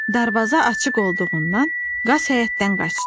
Darvaza açıq olduğundan qaz həyətdən qaçdı.